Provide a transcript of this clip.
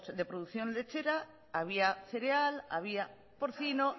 de producción lechera había cereal había porcino